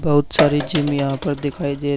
बहुत सारी जिम यहां पर दिखाई दे--